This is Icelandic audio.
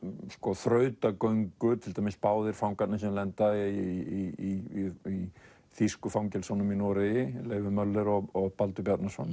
þrautagöngu til dæmis báðir fangarnir sem lenda í þýsku fangelsunum í Noregi Leifur Müller og Baldur Bjarnason